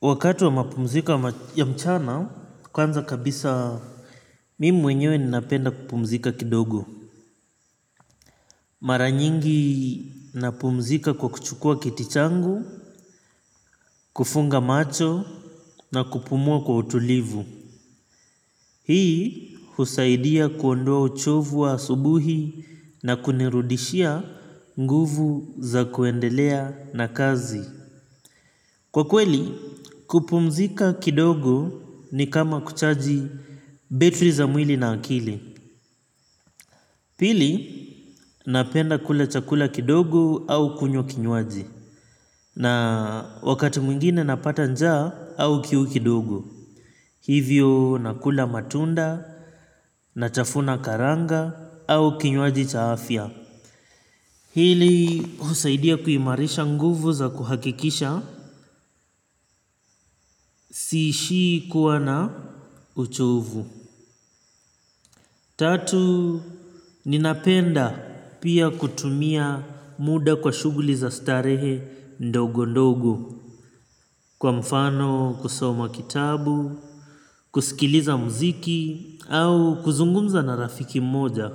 Wakati wa mapumziko ya mchana, kwanza kabisa mimi mwenyewe ninapenda kupumzika kidogo. Mara nyingi napumzika kwa kuchukua kiti changu, kufunga macho na kupumua kwa utulivu. Hii husaidia kuondoa ochovu wa asubuhi na kunirudishia nguvu za kuendelea na kazi. Kwa kweli kupumzika kidogo ni kama kuchaji betri za mwili na akili. Pili napenda kula chakula kidogo au kunywa kinywaji. Na wakati mwingine napata nja au kiu kidogo. Hivyo nakula matunda, natafuna karanga au kinywaji cha afya. Hili husaidia kuimarisha nguvu za kuhakikisha siishi kuwa na uchovu. Tatu, ninapenda pia kutumia muda kwa shuguli za starehe ndogo ndogo. Kwa mfano kusoma kitabu, kusikiliza mziki au kuzungumza na rafiki mmoja.